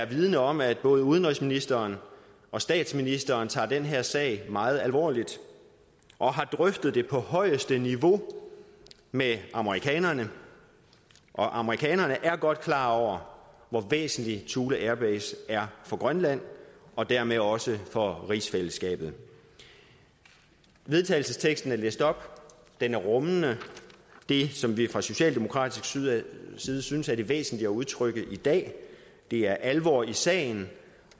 vidende om at både udenrigsministeren og statsministeren tager den her sag meget alvorligt og har drøftet den på højeste niveau med amerikanerne og amerikanerne er godt klar over hvor væsentlig thule airbase er for grønland og dermed også for rigsfællesskabet vedtagelsesteksten er læst op og den rummer det som vi fra socialdemokratisk side synes synes er væsentligt at udtrykke i dag det er alvor i sagen